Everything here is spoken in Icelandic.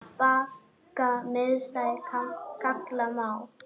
Bakka mishæð kalla má.